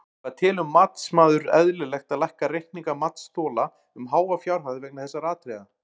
Hvað telur matsmaður eðlilegt að lækka reikninga matsþola um háa fjárhæð vegna þessara atriða?